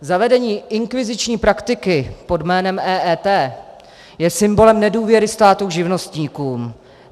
Zavedení inkviziční praktiky pod jménem EET je symbolem nedůvěry státu k živnostníkům.